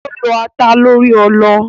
Ó lọ́ ata lórí ọlọ.